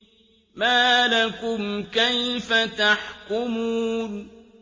مَا لَكُمْ كَيْفَ تَحْكُمُونَ